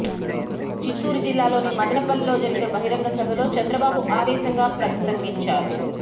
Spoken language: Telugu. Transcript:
చిత్తూరు జిల్లాలోని మదనపల్లెలో జరిగిన బహిరంగ సభలో చంద్రబాబు ఆవేశంగా ప్రసంగించారు